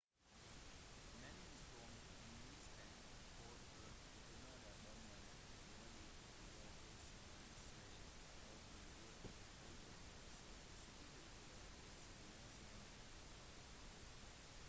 mannen som mistenkt for å detonere bomben ble varetektsfengslet etter å ha pådratt seg skader fra eksplosjonen